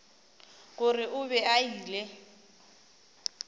gore o be a ile